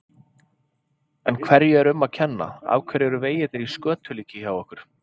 En hverju er um að kenna, af hverju eru vegirnir í skötulíki hjá okkur?